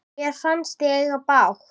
Mér fannst ég eiga bágt.